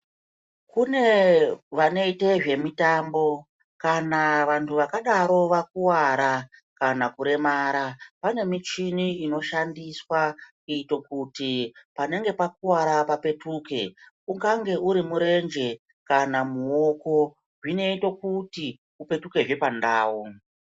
Kunee vanoite zvemutambo kana vantu vakadaro vakuwara kana kuremara pane michini inoshandiswa kuitira kuti panenge pakuwara papetuke ungange uri murenje kana muoko zvinoite kuti upetukezve pandau.